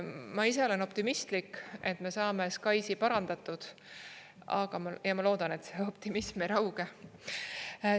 Ma ise olen optimistlik, et me saame SKAIS-i parandatud, ja ma loodan, et see optimism ei rauge.